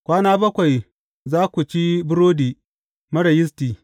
Kwana bakwai za ku ci burodi marar yisti.